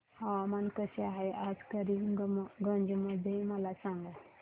हवामान कसे आहे आज करीमगंज मध्ये मला सांगा